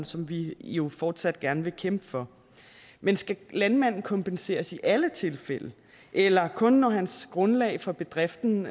som vi jo fortsat gerne vil kæmpe for men skal landmanden kompenseres i alle tilfælde eller kun når hans grundlag for bedriften